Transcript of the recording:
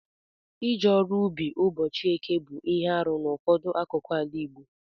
Ije ọrụ ubi ụbọchị eke bu ihe arụ n'ụfọdụ akụkụ ala Igbo.